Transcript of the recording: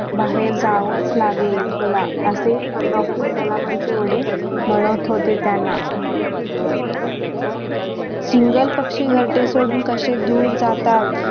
बाहेर जावंच लागेल तुला असे doctor कलामांचे वडील म्हणत होते त्यांना चिंगल पक्षी घरटे सोडून कसे दूर जातात.